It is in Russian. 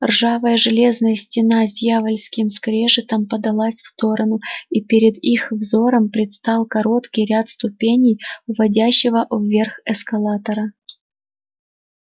ржавая железная стена с дьявольским скрежетом подалась в сторону и перед их взором предстал короткий ряд ступеней уводящего вверх эскалатора